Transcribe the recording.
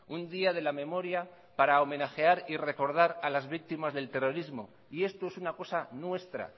un día de la memoria para homenajear y recordar a las víctimas del terrorismo y esto es una cosa nuestra